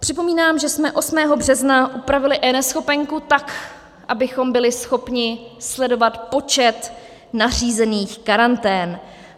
Připomínám, že jsme 8. března upravili eNeschopenku tak, abychom byli schopni sledovat počet nařízených karantén.